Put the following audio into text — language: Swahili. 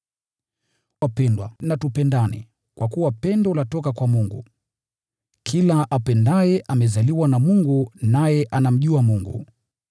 Wapendwa, tupendane, kwa kuwa pendo latoka kwa Mungu. Kila apendaye amezaliwa na Mungu, naye anamjua Mungu.